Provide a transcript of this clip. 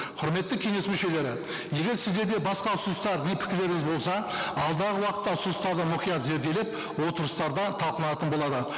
құрметті кеңес мүшелері егер сіздерде басқа ұсыныстар мен пікірлеріңіз болса алдағы уақытта ұсыныстарды мұқият зерделеп отырыстарда талқыланатын болады